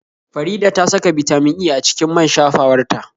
Faridah ta saka Bitamin E a cikin man shafawar ta